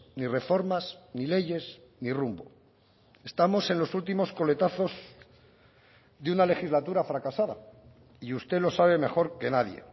ni reformas ni leyes ni rumbo estamos en los últimos coletazos de una legislatura fracasada y usted lo sabe mejor que nadie